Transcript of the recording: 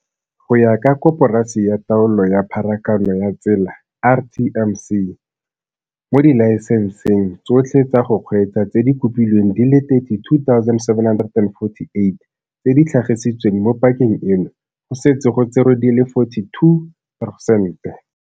Go ya ka Koporasi ya Taolo ya Pharakano ya Tsela RTMC, mo dilae senseng tsotlhe tsa go kgweetsa tse di kopilweng di le 32 748 tse di tlhagisitsweng mo pakeng eno, go setse go tserwe di le 42 poresente..